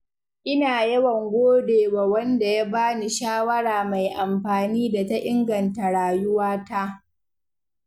Ina yawan gode wa wanda ya bani shawara mai amfani da ta inganta rayuwata.